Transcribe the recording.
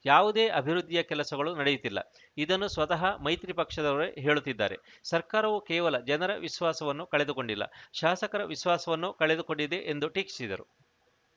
ಯಾವುದೇ ಅಭಿವೃದ್ಧಿಯ ಕೆಲಸಗಳು ನಡೆಯುತ್ತಿಲ್ಲ ಇದನ್ನು ಸ್ವತಃ ಮೈತ್ರಿ ಪಕ್ಷದವರೇ ಹೇಳುತ್ತಿದ್ದಾರೆ ಸರ್ಕಾರವು ಕೇವಲ ಜನರ ವಿಶ್ವಾಸವನ್ನು ಕಳೆದುಕೊಂಡಿಲ್ಲ ಶಾಸಕರ ವಿಶ್ವಾಸವನ್ನೂ ಕಳೆದುಕೊಂಡಿದೆ ಎಂದು ಟೀಕಿಸಿದರು